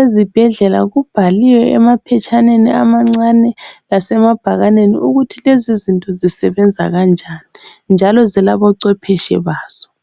ezibhedlela kubhaliwe emaphetshaneni amancane lasemabhakaneni ukuthi lezizinto zisebenza kanjani njalo zilabo cwepheshe bazo.